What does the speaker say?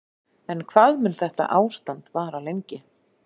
En hvað mun þetta ástand vara lengi?